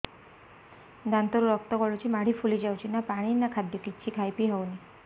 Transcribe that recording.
ଦାନ୍ତ ରୁ ରକ୍ତ ଗଳୁଛି ମାଢି ଫୁଲି ଯାଉଛି ନା ପାଣି ନା ଖାଦ୍ୟ କିଛି ଖାଇ ପିଇ ହେଉନି